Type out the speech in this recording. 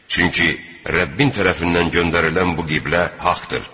Çünki Rəbbin tərəfindən göndərilən bu qiblə haqqdır.